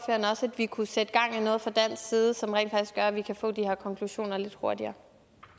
at vi kunne sætte gang i noget fra dansk side som rent faktisk gør at vi kan få de her konklusioner lidt hurtigere